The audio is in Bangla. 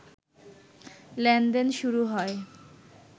লেনদেন শুরু হয়